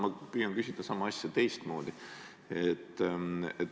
Ma püüan küsida sama asja teistmoodi.